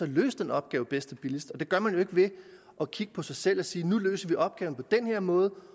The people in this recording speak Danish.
løse opgaven bedst og billigst og det gør man jo ikke ved at kigge på sig selv og sige nu løser vi opgaven på den her måde